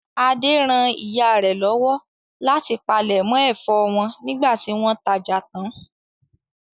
Adé ran ìyá rẹ̀ lọ́wọ́ láti palẹ̀mọ́ ẹ̀fọ́ wọn nígbà tí wọ́n tajà tán.